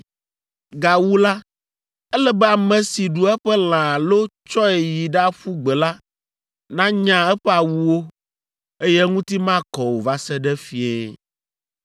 Gawu la, ele be ame si ɖu eƒe lã alo tsɔe yi ɖaƒu gbe la nanya eƒe awuwo, eye eŋuti makɔ o va se ɖe fiẽ.